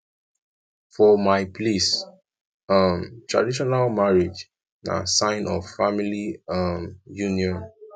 for my place um traditional marriage na sign of family um union